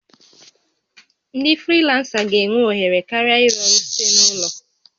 Ndị frilansa ga-enwe ohere karịa ịrụ ọrụ site n'ụlọ